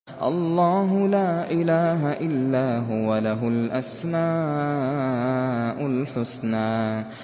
اللَّهُ لَا إِلَٰهَ إِلَّا هُوَ ۖ لَهُ الْأَسْمَاءُ الْحُسْنَىٰ